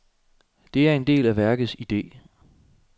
Det er en del af værkets ide.